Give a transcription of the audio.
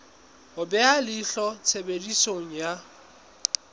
ho beha leihlo tshebediso ya